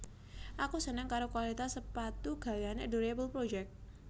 Aku seneng karo kualitas sepatu gaweane Adorable Project